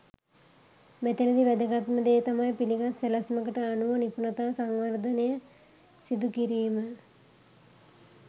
මෙතැනදී වැදගත්ම දෙය තමයි පිළිගත් සැලැස්මකට අනුව නිපුණතා සංවර්ධනය සිදු කිරීම.